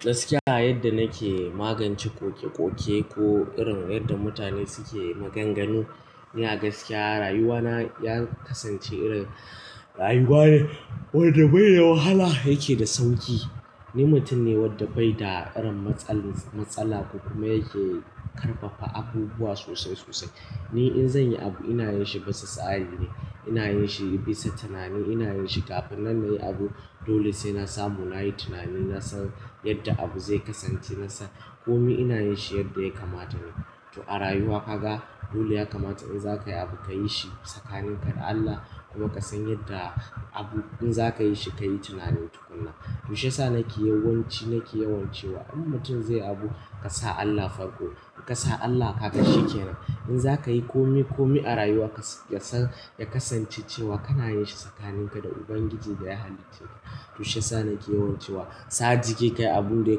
Gaskiya a yadda nake magance ƙoƙe-ƙoƙe ko irin yadda mutane suke maganganu, ina gaskiya rayuwana ya kasance irin rayuwa ne wadda bai da wahala yake da sauƙi. Ni mutum ne wadda bai da irin matsala ko kuma yake karfafa abubuwa sosai sosai. Ni in zan yi abu ina yin shi bisa tsari ne, ina yin shi bisa tunani, ina yin shi kafin nan nayi abu dole sai na samu na yi tunani, na san yadda abu zai kasance, na san kome ina yin shi yadda ya kamata ne. To a rayuwa kaga dole ya kamata in za ka yi abu ka yi shi tsakaninka da Allah kuma ka san yadda abu in za ka yi shi ka yi tunani tukuna. To shiyasa nake yawanci nake yawan cewa in mutum zai yi abu ka sa Allah farko, in ka sa Allah ka kaga shikenan. In za ka yi kome kome a rayuwa kas-- ka san ya kasance cewa kana yin shi tsakaninka da Ubangiji da ya halicce ka. To shiyasa nake yawan cewa sa jiki ka yi abun da ya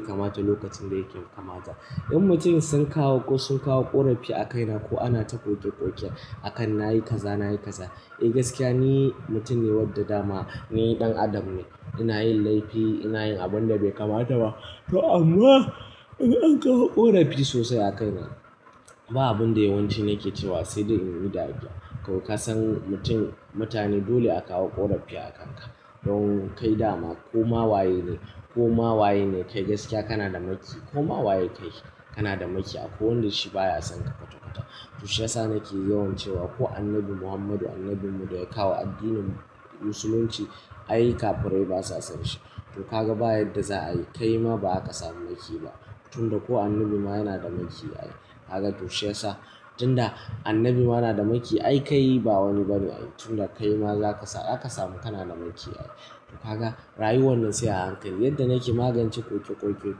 kamata lokacin da yake kamata. In mutum sun kawo ko sun kawo ƙorafi a kaina ko ana ta ƙoƙe-ƙoƙe a kan na yi kaza, na yi kaza, eh gaskiya ni mutum ne wadda dama ni ɗan adam ne. Ina yin laifi, ina yin abun da bai kamata ba. To amma in an kawo ƙorafi sosai a kaina ba abun da yawanci nake cewa sai dai in yiu da addua. Ko ka san mutum mutane dole a kawo ƙorafi a kanka don kai dama koma waye ne koma waye ne kai gaskiya kana da makiyi ko mawaye kai kana da maki akwai wanda shi baya son ka kwata-kwata. To shiyasa nake yawan cewa ko Annabi Muhammadu Annabi mu da ya kawo addinin Musulunci ay kafurai basa san shi. To ka ga baya yadda za a yi, kaima ba za ka samu makiyi ba. Tunda ko annabi ma yana da makiyi ai. Kaga to shiyasa tunda annabi ma na da makiyi ai kai ba wani ba ne ai. Tunda kai ma za ka sa-- zaka samu kana da makiyi ai. To kaga rayuwan nan sai a hankali yadda nake magance ƙoƙe-ƙoƙe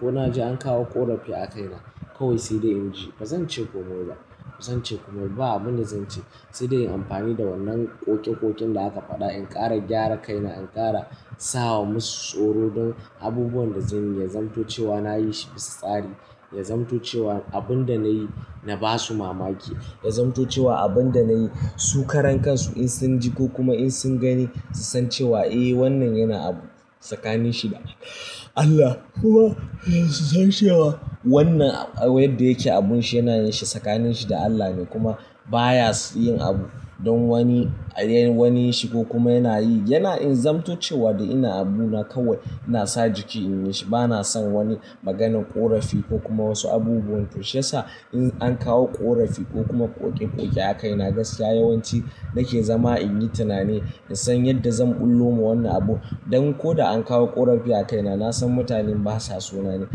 ko na ji an kawo ƙorafi a kaina kawai sai dai in ji ba zan ce komai ba, ba zan ce komai ba, ba abun da zan ce sai dai inyi amfani da wannan ƙoƙe-ƙoƙin da aka faɗa in ƙara gyara kaina, in ƙara sa wa masu tsoro don abubuwan da zan yi ya zamto cewa na yi shi bisa tsari, ya zamto cewa abin da na yi na ba su mamaki, ya zamto cewa abin da na yi su karan kansu in sun ji ko kuma in sun gani su san cewa eh wannan yana abu tsakanin shi da Allah kuma su san cewa wannan a wa yadda yake abun shi yana yin shi tsakanin shi da Allah ne kuma baya yin abu don wani ayi wani ya shi ko kuma yana yi yana in zamto cewa da ina abu na kawai ina sa jiki in yi shi. Ba na son wani maganan ƙorafi ko kuma wasu abubuwan. To shiyasa in an kawo ƙorafi ko kuma ƙoƙe-ƙoƙe a kaina gaskiya yawanci nake zama in yi tunani, in san yadda zan ɓullo ma wannan abu don ko da an kawo ƙorafi a kaina na san mutanen basa so na ne.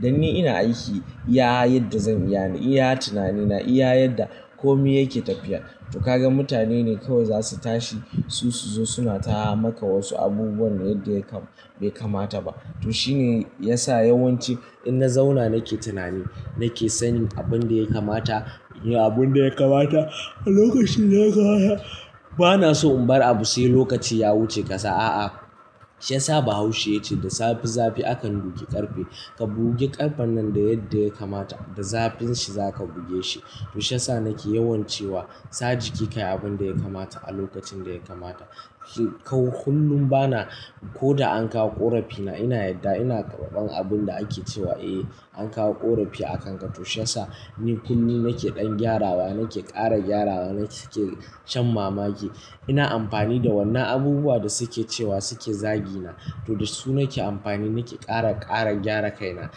Don ni ina aiki iya yadda zan iya ne, iya tunani na, iya yadda kome yake tafiya. To ka ga mutane ne kawai za su tashi su su zo suna ta maka wasu abubuwan da yadda ya kam-- bai kamata ba. To shine ya sa yawanci in na zauna nake tunani nake sanin abun da ya kamata in yi abun da ya kamata a lokacin da ya kamata. Ba na so in bar abu sai lokaci ya wuce ƙasa, a'a. Shiyasa Bahaushe yake cewa da safi zafi akan duki ƙarfe. Ka buge ƙarfen nan da yadda ya kamata, da zafin shi za ka buge shi. To shiyasa nake yawan cewa sa jiki ka yi abin da ya kamata a lokacin da ya kamata. Kau kullum bana ko da an kawo ƙorafi na ina yarda ina karɓan abun da ake cewa eh an kawo ƙorafi a kanka to shiyasa ni kullum nake ɗan gyarawa, nake ƙara gyarawa, nake shan mamaki. Ina amfani da wannan abubuwa da suke cewa suke zagi na to da su nake amfani nake ƙara ƙara gyara kaina.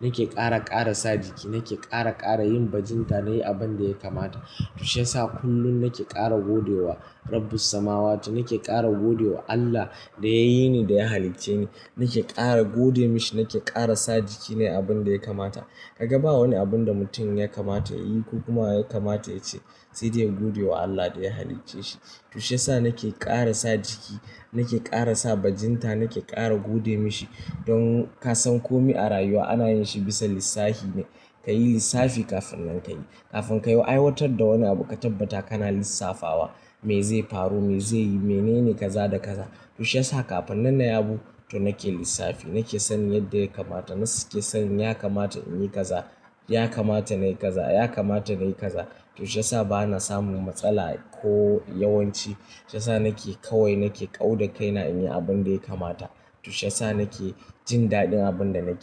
Nake ƙara ƙara sa jiki, nake ƙara ƙara yin bajinta na yi abun da ya kamata. To shiyasa kullum nake ƙara gode wa Rabbus samawatu, nake ƙara gode wa Allah da ya yi ni da ya halicce ni. Nake ƙara gode mishi, nake ƙara sa jiki ne a abun da ya kamata. Ka ga ba wani abun da mutum ya kamata ya yi ko kuma ya kamata ya ce sai dai ya gode wa Allah da ya halicce shi. To shiyasa nake ƙara sa jiki, nake ƙara sa bajinta, nake ƙara gode mashi don ka san kome a rayuwa ana yin shi bisa lissafi ne. Ka yi lissafi kafin nan ka yi. Kafin ka yi aiwatar da wani abu ka tabbata kana lissafawa me zai faru, me zai yi, mene ne kaza da kaza. To shiyasa kafin nan na yi abu to nake lissafi, nake sanin yadda ya kamata. Nas-- ke san ya kamata in yi kaza, ya kamata na yi kaza, ya kamata na yi kaza. To shiyasa bana samun matsala ko yawanci shiyasa nake kawai nake ƙauda kaina in yi abin da ya kamata. To shiyasa nake jin daɗin abin da nake yi.